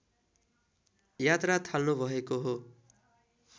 यात्रा थाल्नुभएको हो